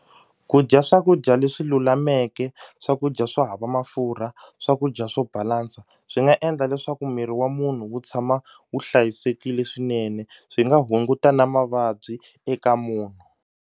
Ku dya swakudya leswi lulameke swakudya swo hava mafurha swakudya swo balansa swi nga endla leswaku miri wa munhu wu tshama wu hlayisekile swinene swi nga hunguta na mavabyi eka munhu.